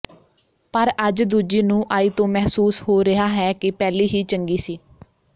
ਪਰ ਅੱਜ ਦੂਜੀ ਨੂੰਹ ਆਈ ਤੋਂ ਮਹਿਸੂਸ ਹੋ ਰਿਹਾ ਹੈ ਕਿ ਪਹਿਲੀ ਹੀ ਚੰਗੀ ਸੀ